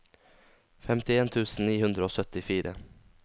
femtien tusen ni hundre og syttifire